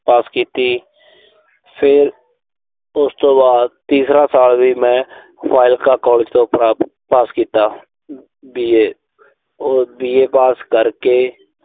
ਪਾਸ ਕੀਤੀ। ਫਿਰ ਉਸ ਤੋਂ ਬਾਅਦ ਤੀਸਰਾ ਸਾਲ ਵੀ ਮੈਂ ਫਾਜ਼ਿਲਕਾ ਕਾਲਜ ਤੋਂ ਪਾਸ ਕੀਤਾ। ਅਹ B. A ਉਹ B. A ਪਾਸ ਕਰਕੇ।